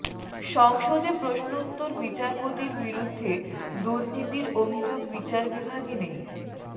সংসদে প্রশ্নোত্তর বিচারপতির বিরুদ্ধে দুর্নীতির অভিযোগ বিচার বিভাগে নেই